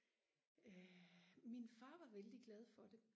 øh min far var vældig glad for det